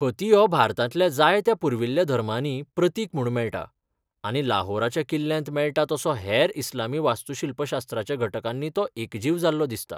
हती हो भारतांतल्या जायत्या पुर्विल्ल्या धर्मांनी प्रतीक म्हूण मेळटा, आनी लाहोराच्या किल्ल्यांत मेळता तसो हेर इस्लामी वास्तूशिल्पशास्त्राच्या घटकांनी तो एकजीव जाल्लो दिसता.